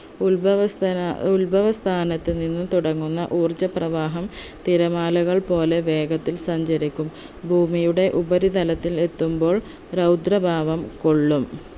ഉത്ഭവസ്ഥന ഉത്ഭവസ്ഥാനത്ത് നിന്ന് തുടങ്ങുന്ന ഊർജ്ജപ്രവാഹം തിരമാലകൾ പോലെ വേഗത്തിൽ സഞ്ചരിക്കും ഭൂമിയുടെ ഉപരിതലത്തിൽ എത്തുമ്പോൾ രൗദ്രഭാവം കൊള്ളും